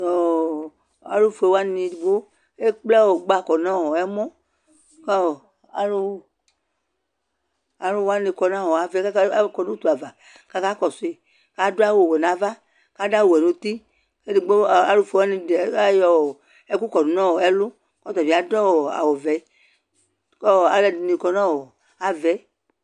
tʋ alʋƒʋɛ waniɛdigbɔ ɛkplɛ ɔgba kɔnʋ ɛmɔ kʋ alʋwani kɔnʋɔ aɣaɛ kʋ akɔ nʋʋtʋ aɣa kʋ akakɔsʋi kʋ adʋ awʋ awɛ nʋ aɣa kʋ adʋ awʋ wɛ nʋti kʋ ɛdigbɔ, alʋƒʋɛ ayɔ ɛkʋ kɔdʋ nʋ ɛlʋ kʋ ɔtabi adʋɔ awʋ vɛ kʋ alʋɛdini kɔnʋaɣaɛ